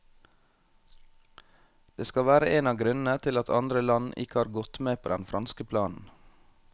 Det skal være en av grunnene til at andre land ikke har gått med på den franske planen.